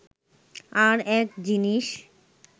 আর-এক জিনিস